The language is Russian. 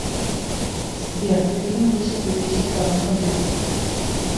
сбер фильм вышел в две тысячи втором году